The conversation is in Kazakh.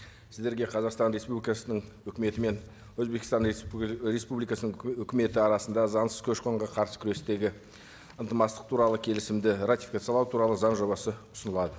сіздерге қазақстан республикасының үкіметі мен өзбекстан ы республикасының өкіметі арасында заңсыз көші қонға қарсы күрестегі туралы келісімді ратификациялау туралы заң жобасы ұсынылады